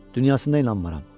Dünyasına inanmıram!